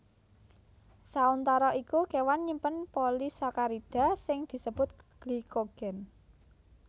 Sauntara iku kéwan nyimpen polisakarida sing disebut glikogen